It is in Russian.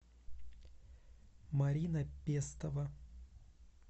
марина пестова